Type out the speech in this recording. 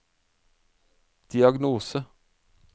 diagnose